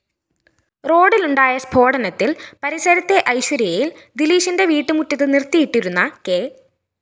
റോഡിലുണ്ടായ സ്‌ഫോടനത്തില്‍ പരിസരത്തെ ഐശ്വര്യയില്‍ ദിലീശിന്റെ വീട്ടുമുറ്റത്ത് നിര്‍ത്തിയിട്ടിരുന്ന കെ